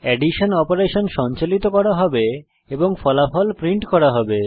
addition operation সঞ্চালিত করা হবে এবং ফলাফল প্রিন্ট করা হবে